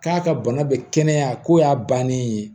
K'a ka bana bɛ kɛnɛya ko y'a bannen ye